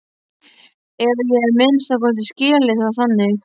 Eða ég hef að minnsta kosti skilið það þannig.